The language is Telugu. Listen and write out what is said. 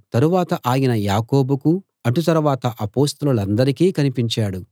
తరువాత ఆయన యాకోబుకు అటు తరువాత అపొస్తలులకందరికీ కనిపించాడు